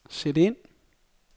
sæt ind